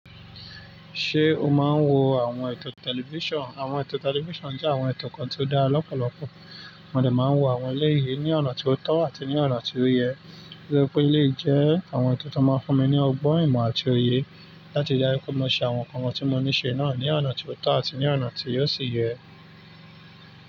Ṣé o máa ń wo àwọn ètò tẹlifíṣàn? Àwọn ètò tẹlifíṣàn jẹ́ àwọn ètò kan tí ó dára lọ́pọ̀lọpọ̀. Mọ dẹ máa ń wo àwọn eléyii ní ọ̀nà tí ó tọ́ àti ní ọ̀nà tí ó yẹ. Toripé eléyìí jẹ́ àwọn ètò tí ó máa ń fún mi ní ọgbọ́n ìmọ̀ àti òye láti rí daju pé mo ṣe àwọn nǹkan tí mo níṣe náà ní ọ̀nà tí ó tọ́ àti ní ọ̀nà tí óò sì yẹ.